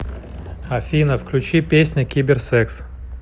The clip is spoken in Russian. афина включи песня кибер секс